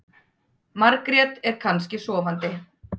Margrét er kannski sofandi.